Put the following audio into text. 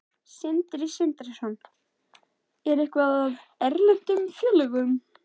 Sindri Sindrason: Eitthvað af erlendum félögum?